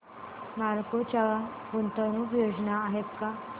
नालको च्या गुंतवणूक योजना आहेत का